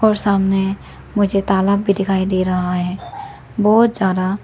और सामने मुझे तालाब भी दिखाई दे रहा है बहोत सारा।